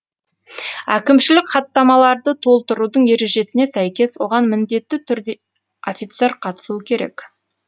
әкімшілік хаттамаларды толтырудың ережесіне сәйкес оған міндетті түрде офицер қатысуы керек